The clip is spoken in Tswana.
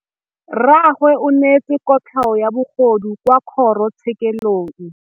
Rragwe o neetswe kotlhaô ya bogodu kwa kgoro tshêkêlông.